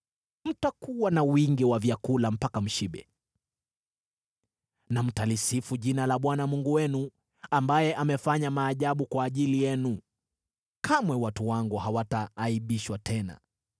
Mtakuwa na wingi wa vyakula mpaka mshibe, na mtalisifu jina la Bwana Mungu wenu, ambaye amefanya maajabu kwa ajili yenu; kamwe watu wangu hawataaibishwa tena.